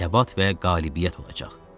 Səbat və qalibiyyət olacaq.